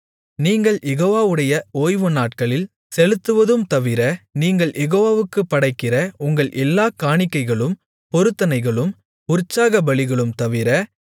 நீங்கள் யெகோவாவுடைய ஓய்வுநாட்களில் செலுத்துவதும் தவிர நீங்கள் யெகோவாவுக்குப் படைக்கிற உங்கள் எல்லாக் காணிக்கைகளும் பொருத்தனைகளும் உற்சாகபலிகளும் தவிர